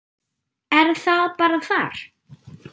Er það bara þar?